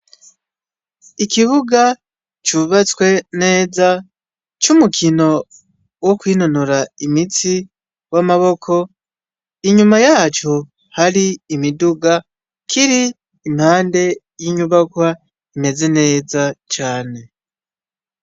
Ikibuga cubatswe neza c'umukino wo kwinonora imitsi w'amaboko inyuma yaco hari imiduga kiri impande y'inyubakwa imeze neza cane .